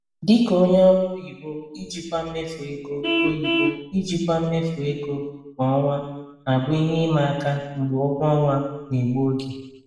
Dị ka onye ọrụ oyibo, ijikwa mmefu ego oyibo, ijikwa mmefu ego kwa ọnwa na-abụ ihe ima aka mgbe ụgwọ ọnwa na-egbu oge.